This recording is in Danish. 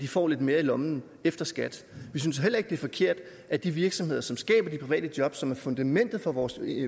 får lidt mere i lommen efter skat vi synes heller ikke det er forkert at de virksomheder som skaber de private job som er fundamentet for vores